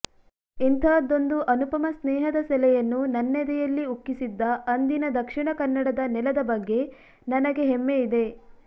ಇಂತಹದ್ದೊಂದು ಅನುಪಮ ಸ್ನೇಹದ ಸೆಲೆಯನ್ನು ನನ್ನೆದೆಯಲ್ಲಿ ಉಕ್ಕಿಸಿದ್ದ ಅಂದಿನ ದಕ್ಷಿಣಕನ್ನಡದ ನೆಲದ ಬಗ್ಗೆ ನನಗೆ ಹೆಮ್ಮೆಯಿದೆ